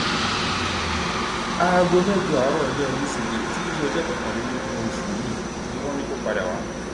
aago mẹjọ àárọ ọjọ wíṣídẹẹ tí í ṣe ọjọ kọkànlélógún ò ṣú yìí ni wọn ní kó padà wá